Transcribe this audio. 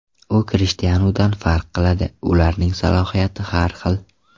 U Krishtianudan farq qiladi, ularning salohiyati har xil.